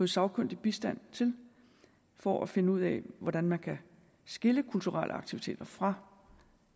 sagkyndig bistand til for at finde ud af hvordan man kan adskille kulturelle aktiviteter fra